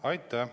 Aitäh!